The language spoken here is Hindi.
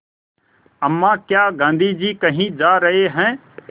अम्मा क्या गाँधी जी कहीं जा रहे हैं